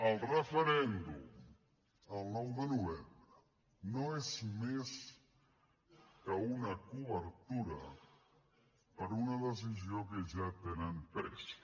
el referèndum del nou de novembre no és més que una cobertura per a una decisió que ja tenen presa